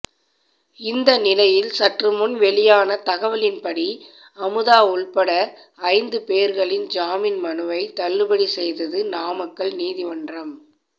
இந்த நிலையில் சற்றுமுன் வெளியான தகவலின்படி அமுதா உள்பட ஐந்து பேர்களின் ஜாமீன் மனுவை தள்ளுபடி செய்தது நாமக்கல் நீதிமன்றம்